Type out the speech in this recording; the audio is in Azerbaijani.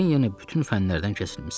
Yəqin yenə bütün fənlərdən kəsilmisən.